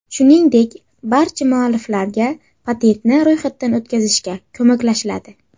Shuningdek, barcha mualliflarga patentni ro‘yxatdan o‘tkazishga ko‘maklashiladi.